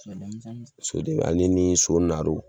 So dɔw ale ni so naro